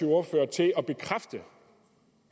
ordfører til at bekræfte